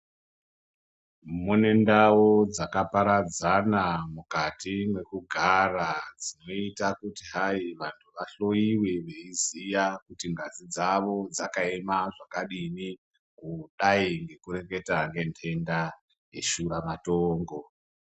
Mune ndau dzakaparadzana mukati mwekugara dzinoita kuti hai vanthu vahloyiwe veiziya kuti ngazi dzavo dzakaema zvakadini kudayi ngekureketa ngendenda yeshuramatongo.